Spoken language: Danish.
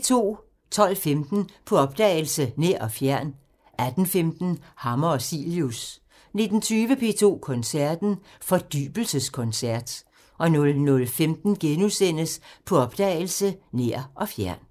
12:15: På opdagelse – Nær og fjern 18:15: Hammer og Cilius 19:20: P2 Koncerten – Fordybelseskoncert 00:15: På opdagelse – Nær og fjern *